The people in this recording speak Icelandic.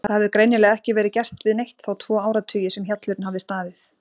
Það hafði greinilega ekki verið gert við neitt þá tvo áratugi sem hjallurinn hafði staðið.